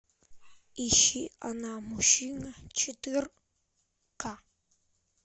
ищи она мужчина четыре ка